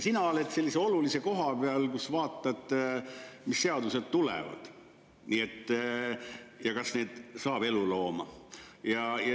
Sina oled sellise olulise koha peal, kus sa vaatad, mis seadused tulevad ja kas neist saab elulooma.